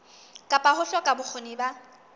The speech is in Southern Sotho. kapa ho hloka bokgoni ba